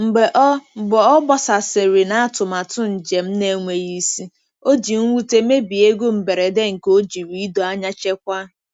Mgbe ọ Mgbe ọ gbasasịrị na atụmatụ njem na-enweghị isi, O ji nwute mebie ego mberede nke ojiri ido anya chekwaa.